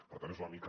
per tant és una mica